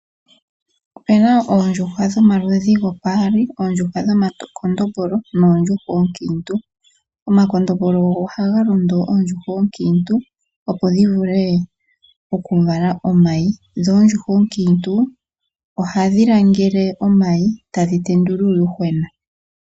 Opena oondjuhwa omaludhi gaali omakondombolo noondjuhwa oonkiintu. Omakondombolo ogo haga londo oondjuhwa onkiintu dhi vale omayi nuunadha vala omayi ohadhi ga langele eyadhi tendula uuyuhwena.